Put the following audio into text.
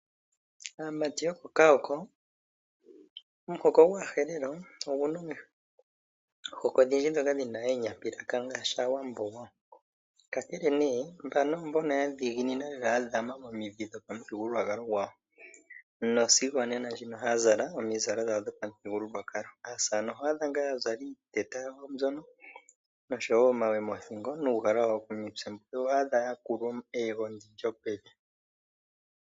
Aamati yokOkaoko, omuhoko gwAaherero ogu na omihoko odhindji ndhoka dhi na oonyapilaka ngaashi Omuwambo-Aawambo, kakele nee mbano oyo mboka ya dhiginina lela ya dhama momidhi dhopamuthigululwakalo gwawo nosigo onena ndjino ohaya zala omizalo dhawo dhopamuthigululwakalo. Aasaane oho adha ngaa ya zala iiteta yawo mbyono noshowo omawe moothingo nuugala wawo komitse, yo oho adha ya kulwa eyego lyopevi.